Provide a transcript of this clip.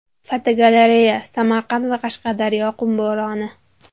Fotogalereya: Samarqand va Qashqadaryoda qum bo‘roni.